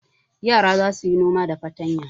Yara za su yi noma da fatanya.